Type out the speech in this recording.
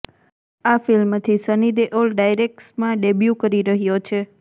આ ફિલ્મથી સની દેઓલ ડાયરેક્શમાં ડેબ્યૂ કરી રહ્યો છે